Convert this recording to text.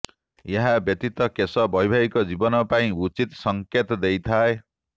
ଏହା ବ୍ୟତୀତ କେଶ ବୈବାହିକ ଜୀବନ ପାଇଁ ଉଚିତ ସଂକେତ ଦେଇଥାଏ